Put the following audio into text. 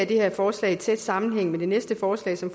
det her forslag i tæt sammenhæng med det næste forslag som